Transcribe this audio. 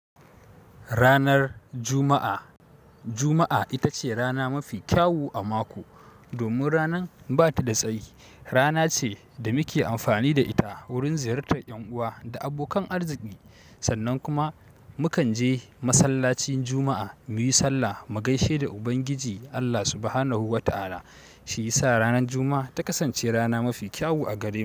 Ranar Juma'a, Juma'a ita ce rana mafi kyawu a mako domin ranan ba ta da tsayi. Rana ce da muke amfani da ita wurin ziyartar ƴan uwa da abokan arziki sannan kuma mukan je masallacin Juma'a muyi sallah mu gaishe da Ubangiji Allah subhanahu wa ta'ala. Shi ya sa ranar Juma'a ta kasance rana mafi kyawu a gare mu.